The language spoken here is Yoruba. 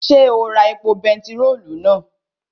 Ṣé o ra epo bentiróòlù náà?